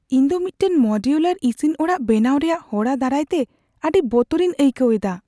ᱤᱧ ᱫᱚ ᱢᱤᱫᱴᱟᱝ ᱢᱚᱰᱤᱭᱩᱞᱟᱨ ᱤᱥᱤᱱ ᱚᱲᱟᱜ ᱵᱮᱱᱟᱣ ᱨᱮᱭᱟᱜ ᱦᱚᱨᱟ ᱫᱟᱨᱟᱭᱛᱮ ᱟᱹᱰᱤ ᱵᱚᱛᱚᱨᱤᱧ ᱟᱹᱭᱠᱟᱹᱣ ᱮᱫᱟ ᱾